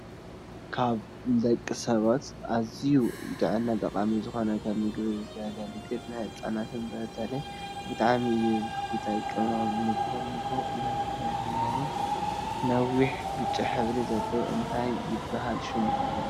ካብ ንደቂ ሰባት ኣዝዩ ንጥዕና ጠቃሚ ዝኮነን ከም ምግብነት ዝገልግል ንህፃናት በተለይ ብጣዕሚ እዩ ዝጠቅሞም ንጉሆ ንጉሆ እንተሂብናዮም። ነዊሕ ብጫ ሕብሪ ዘለዎ እንታይ ይብሃል ሽሙ?